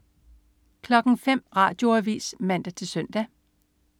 05.00 Radioavis (man-søn)